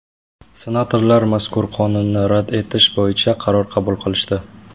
Senatorlar mazkur qonunni rad etish bo‘yicha qaror qabul qilishdi.